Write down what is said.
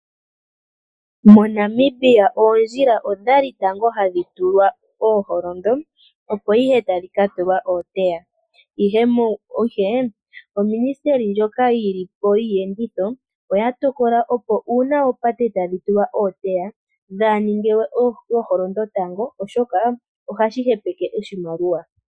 MoNamibia oondjila odha li tango hadhi tulwa ooholondo opo ihe tadhi ka tulwa ooteya. Ihe uuministeli wiiyenditho oya tokola kutya ngele oopate tadhi tulwa ooteya dhaa ha ningwe ooholondo tango oshoka ohadhi hepeke oshimaliwa.